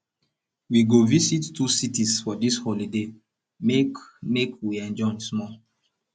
we go visit two cities for dis holiday make make we enjoy small